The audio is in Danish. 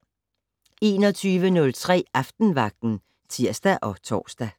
21:03: Aftenvagten (tir og tor)